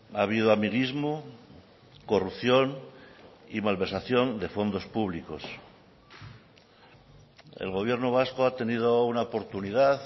ha habido amiguismo corrupción y malversación de fondos públicos el gobierno vasco ha tenido una oportunidad